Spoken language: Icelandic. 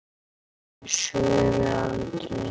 Þau svöruðu aldrei.